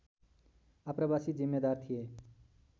आप्रवासी जिम्मेदार थिए